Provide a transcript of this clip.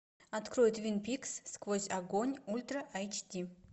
открой твин пикс сквозь огонь ультра айч ди